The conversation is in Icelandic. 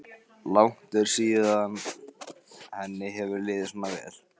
Langt er síðan henni hefur liðið svona vel.